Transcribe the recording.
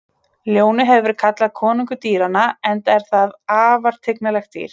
Ljónið hefur verið kallað konungur dýranna enda er það afar tignarlegt dýr.